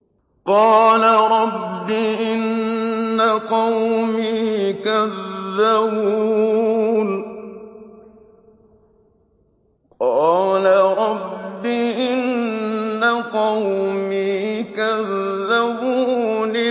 قَالَ رَبِّ إِنَّ قَوْمِي كَذَّبُونِ